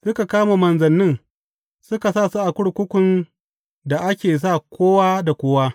Suka kama manzannin suka sa su a kurkukun da ake sa kowa da kowa.